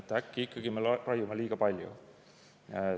Äkki ikkagi raiume liiga palju?